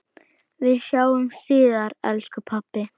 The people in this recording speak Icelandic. Við sjáumst síðar elsku pabbi.